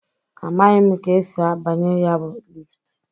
Amaghị m ka esi abanye ya bụ lift.